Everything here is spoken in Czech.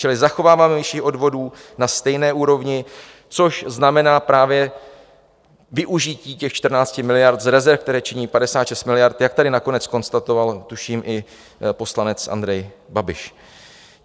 Čili zachováváme výši odvodů na stejné úrovni, což znamená právě využití těch 14 miliard z rezerv, které činí 56 miliard, jak tady nakonec konstatoval tuším i poslanec Andrej Babiš.